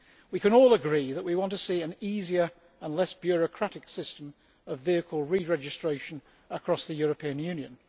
We can all agree that we want to see an easier and less bureaucratic system of vehicle re registration across the European Union